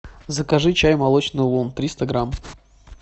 закажи чай молочный улун триста грамм